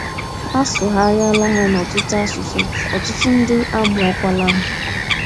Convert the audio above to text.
A sụgharịala ha n’ọtụtụ asụsụ, ọtụtụ ndị amụọkwala ha. um